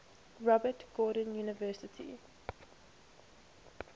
robert gordon university